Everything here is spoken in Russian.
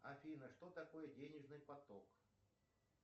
афина что такое денежный поток